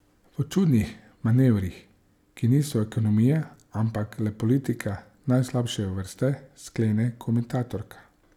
V čudnih manevrih, ki niso ekonomija, ampak le politika najslabše vrste, sklene komentatorka.